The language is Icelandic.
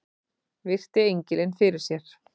Virti engilinn fyrir sér.